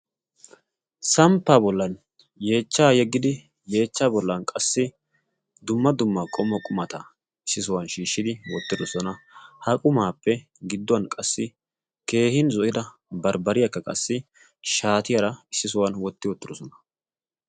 samppa bollan yeechchaa yeggidi yeechcha bollan qassi dumma dumma qommo qumata issi suuwan shiishshidi wottidosona. ha qumaappe gidduwan qassi keehin zo'ida barbbariyaakka qassi shaatiyaara issi suwan wotti oottidosona.